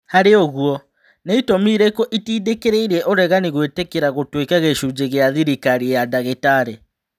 Harĩ ũguo, nĩ-itũmi irĩkũ itindĩkĩrĩirie ũregani gũĩtĩkĩra gũtuĩka gĩcunje gĩa thĩrikari ya Ndagitari.